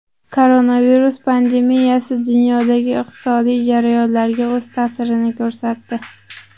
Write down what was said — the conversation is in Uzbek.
Koronavirus pandemiyasi dunyodagi iqtisodiy jarayonlarga o‘z ta’sirini ko‘rsatdi.